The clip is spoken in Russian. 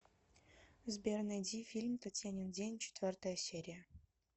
сбер найди фильм татьянин день четвертая серия